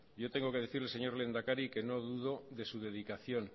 yo tengo que decirle señor lehendakari que no dudo de su dedicación